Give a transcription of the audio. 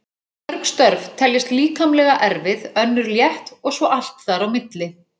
Mörg störf teljast líkamlega erfið, önnur létt og svo allt þar á milli.